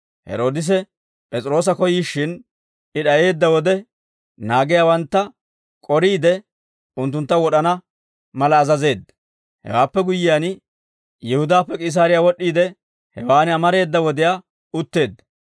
Heroodise P'es'iroosa koyyishshin, I d'ayeedda wode, naagiyaawantta k'oriide, unttuntta wod'ana mala azazeedda; hewaappe guyyiyaan, Yihudaappe K'iisaariyaa wod'd'iide, hewaan amareeda wodiyaa utteedda.